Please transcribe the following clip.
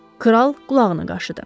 Kral qulağını qaşıdı.